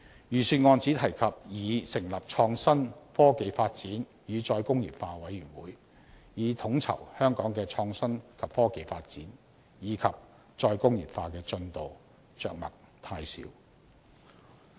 預算案只提及擬成立創新、科技發展與再工業化委員會，以統籌香港的創新及科技發展，以及再工業化的進度，着墨太少。